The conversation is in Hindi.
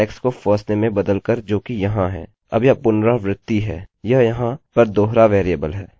हमारे पास firstname है और ऐसे ही यहाँ है मैं इसे इस तरह नाम दूँगा firstname underscore form और lastname underscore form